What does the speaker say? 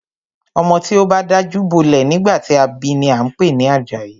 Ọmọ tí o bá dajú bolẹ̀ nígbà tí a bi ni a ń pè ní Àjàyí.